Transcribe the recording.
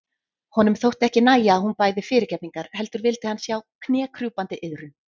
Honum þótti ekki nægja að hún bæði fyrirgefningar heldur vildi hann sjá knékrjúpandi iðrun.